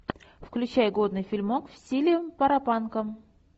включай годный фильмок в стиле паропанка